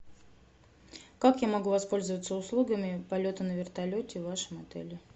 как я могу воспользоваться услугами полета на вертолете в вашем отеле